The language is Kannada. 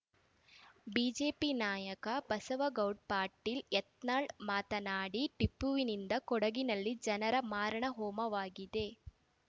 ಬಿಜೆಪಿ ನಾಯಕ ಬಸವಗೌಡ್ ಪಾಟೀಲ್‌ ಯತ್ನಾಳ್‌ ಮಾತನಾಡಿ ಟಿಪ್ಪುವಿನಿಂದ ಕೊಡಗಿನಲ್ಲಿ ಜನರ ಮಾರಣ ಹೋಮವಾಗಿದೆ